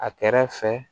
A kɛrɛ fɛ